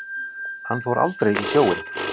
Hann fór aldrei í sjóinn.